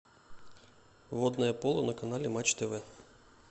водное поло на канале матч тв